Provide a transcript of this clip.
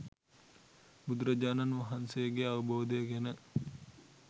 බුදුරජාණන් වහන්සේගේ අවබෝධය ගැන